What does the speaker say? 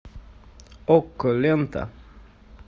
окко лента